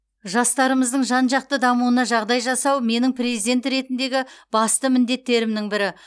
жастарымыздың жан жақты дамуына жағдай жасау менің президент ретіндегі басты міндеттерімнің бірі